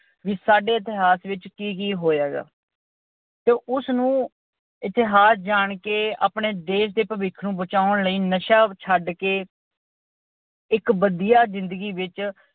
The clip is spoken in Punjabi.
ਵੀ ਸਾਡੇ ਇਤਿਹਾਸ ਵਿਚ ਕੀ-ਕੀ ਹੋਇਆ ਗਾ ਤੇ ਉਸਨੂੰ ਇਤਿਹਾਸ ਜਾਣ ਕੇ ਆਪਣੇ ਦੇਸ਼ ਦੇ ਭਵਿੱਖ ਨੂੰ ਬਚਾਉਣ ਲਈ ਨਸ਼ਾ ਛੱਡ ਕੇ ਇੱਕ ਵਧੀਆ ਜਿੰਦਗੀ ਵਿੱਚ